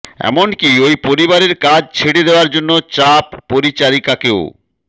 এমনকি ওই পরিবারের কাজ ছেড়ে দেওয়ার জন্য চাপ পরিচারিকাকেও